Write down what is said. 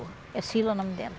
É Cila o nome dela.